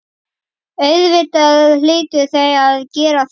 Auðvitað hlytu þau að gera það.